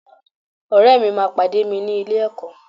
Ọ̀rẹ́ mi máa pàdé mi ní ilé-ẹ̀kọ́